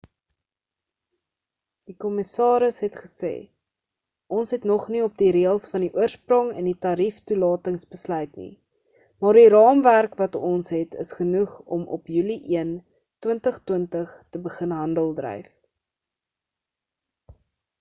die kommissaris het gesê ons het nog nie op die reëls van die oorsprong en die tarief toelatings besluit nie maar die raamwerk wat ons het is genoeg om op julie 1 2020 te begin handeldryf